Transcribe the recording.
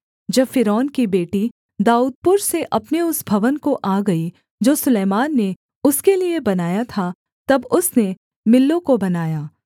जब फ़िरौन की बेटी दाऊदपुर से अपने उस भवन को आ गई जो सुलैमान ने उसके लिये बनाया था तब उसने मिल्लो को बनाया